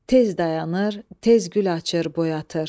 Tez dayanır, tez gül açır, boyatır.